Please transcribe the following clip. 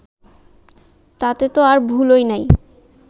তাতে ত আর ভুলই নেই